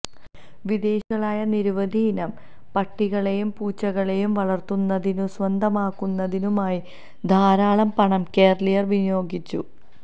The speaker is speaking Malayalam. വിദേശികളായ നിരവധിയിനം പട്ടികളെയും പൂച്ചകളെയും വളര്ത്തുന്നതിനും സ്വന്തമാക്കുന്നതിനുമായി ധാരാളം പണം കേരളീയര് വിനിയോഗിച്ചു